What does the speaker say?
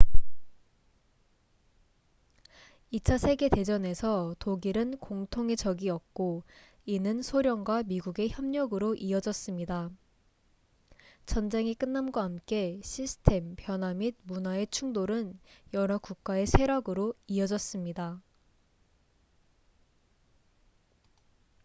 2차 세계 대전에서 독일은 공통의 적이었고 이는 소련과 미국의 협력으로 이어졌습니다 전쟁이 끝남과 함께 시스템 변화 및 문화의 충돌은 여러 국가의 쇠락으로 이어졌습니다